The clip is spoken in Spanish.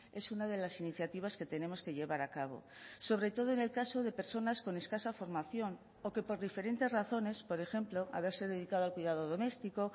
es una de las iniciativas que tenemos que llevar a cabo sobre todo en el caso de personas con escasa formación o que por diferentes razones por ejemplo haberse dedicado al cuidado doméstico